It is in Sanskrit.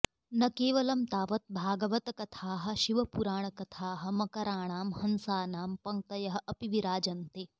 न केवलं तावत् भागवतकथाः शिवपुराणकथाः मकराणां हंसानां पङ्क्तयः अपि विराजन्ते